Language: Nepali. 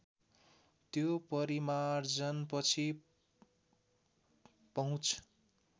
त्यो परिमार्जनपछि पहुँच